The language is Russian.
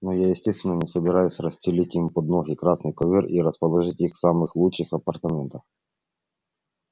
но я естественно не собираюсь расстелить им под ноги красный ковёр и расположить их в самых лучших апартаментах